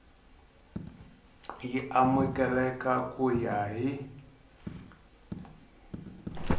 y amukeleka ku ya hi